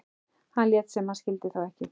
Hann lét sem hann skildi þá ekki.